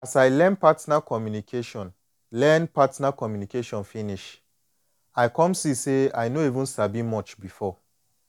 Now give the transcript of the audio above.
as i learn partner communication learn partner communication finish i come see say i no even sabi much before